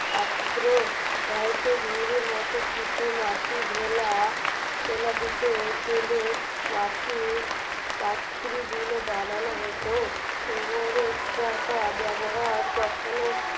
পাত্র হয়ত ঝুড়ির মত কিছু মাটি ঢেলা ঢেলা দিতে plate মাটির পাত্রীগুলো বানানো হতো চাকা ব্যবহার তখনো